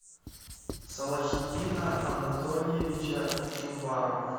салохиддина анатольевича чубарова